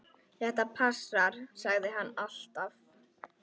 Þetta passar, sagði hann alltaf.